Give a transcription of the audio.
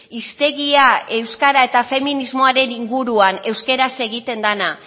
hiztegia euskara eta feminismoaren inguruan euskaraz egiten dena